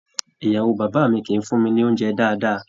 Ìyàwó bàbá mí kìí fún mí ní oúnjẹ dáadáa.